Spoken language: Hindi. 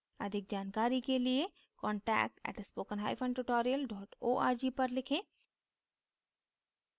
अधिक जानकारी के लिए contact @spoken hyphen tutorial dot org पर लिखें